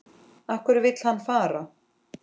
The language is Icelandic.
Af hverju vill hann fara?